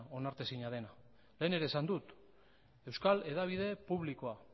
onartezina dena lehen ere esan dut euskal hedabide publikoa